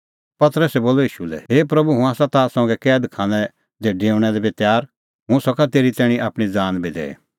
पतरसै बोलअ ईशू लै हे प्रभू हुंह आसा ताह संघै कैद खानै दी डेऊणा लै बी तैर और हुंह सका तेरी तैणीं आपणीं ज़ान बी दैई